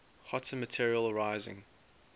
hotter material rising